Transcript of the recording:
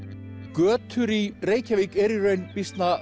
götur í Reykjavík eru í raun býsna